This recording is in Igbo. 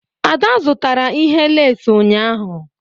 Ada zụtara ihe lace ụnyahụ?